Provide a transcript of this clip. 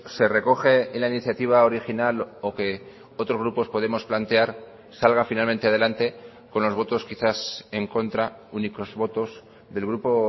se recoge en la iniciativa original o que otros grupos podemos plantear salga finalmente adelante con los votos quizás en contra únicos votos del grupo